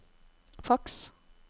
faks